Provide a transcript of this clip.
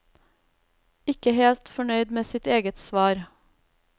Ikke helt fornøyd med sitt eget svar.